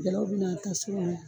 bɛ n'a ta yan.